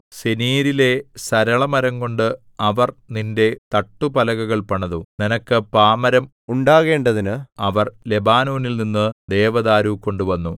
സെനീരിലെ സരളമരംകൊണ്ട് അവർ നിന്റെ തട്ടുപലകകൾ പണിതു നിനക്ക് പാമരം ഉണ്ടാക്കേണ്ടതിന് അവർ ലെബാനോനിൽനിന്നു ദേവദാരു കൊണ്ടുവന്നു